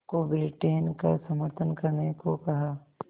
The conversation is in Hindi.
को ब्रिटेन का समर्थन करने को कहा